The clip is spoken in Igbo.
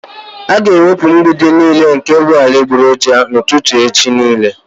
All the fake building materials will be removed and destroyed by tomorrow evening